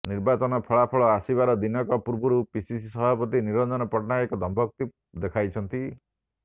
ନିର୍ବାଚନ ଫଳାଫଳ ଆସିବାର ଦିନକ ପୂର୍ବରୁ ପିସିସି ସଭାପତି ନିରଞ୍ଜନ ପଟ୍ଟନାୟକ ଦମ୍ଭୋକ୍ତି ଦେଖାଇଛନ୍ତି